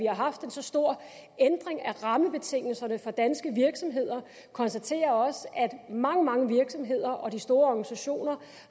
har haft en så stor ændring af rammebetingelserne for danske virksomheder konstaterer også at mange mange virksomheder og de store organisationer